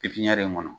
Pipiniyɛri in kɔnɔ